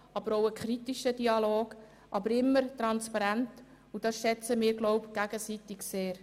Es ist auch ein kritischer Dialog, aber er ist immer transparent, und das schätzen wir, glaube ich, gegenseitig sehr.